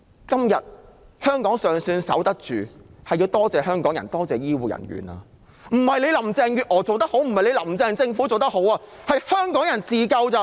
今天香港尚算守得住，要多謝的是香港人和醫護人員，而非因為林鄭月娥及其政府做得好，靠的只是香港人自救。